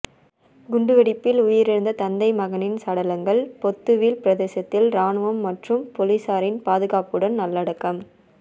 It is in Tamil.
குண்டு வெடிப்பில் உயிர் இழந்த தந்தை மகனின் சடலங்கள் பொத்துவில் பிரதேசத்தில் இராணுவம் மற்றும் பொலிசாரின் பாதுகாப்புடன் நல்லடக்கம்